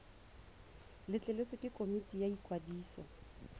letleletswe ke komiti ya ikwadiso